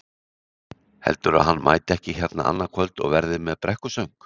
Heldurðu að hann mæti ekki hérna annað kvöld og verði með brekkusöng?